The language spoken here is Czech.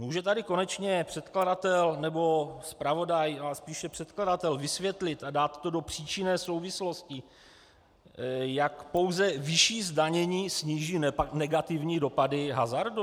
Může tady konečně předkladatel nebo zpravodaj, ale spíše předkladatel vysvětlit a dát to do příčinné souvislosti, jak pouze vyšší zdanění sníží negativní dopady hazardu?